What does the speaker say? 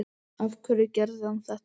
Af hverju gerði hann þetta?